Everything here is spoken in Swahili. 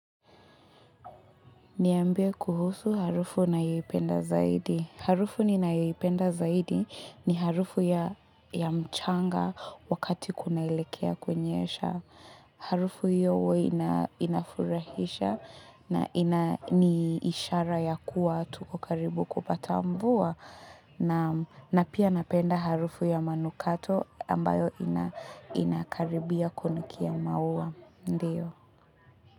Niambie kuhusu harufu unayoipenda zaidi. Harufu ni ninayoipenda zaidi ni harufu ya mchanga wakati kunaelekea kunyesha. Harufu hiyo huwa inafurahisha na ni ishara ya kuwa tuko karibu kupata mvua. Na pia napenda harufu ya manukato ambayo inakaribia kunukia maua. Ndiyo.